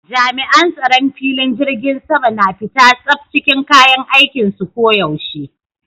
Jami'an tsaron filing jirgin sama na fita tsaf cikin kayan aikinsu ko yaushe.